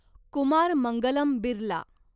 Kumar Mangalam Birla